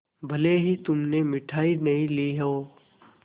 भले ही तुमने मिठाई नहीं ली हो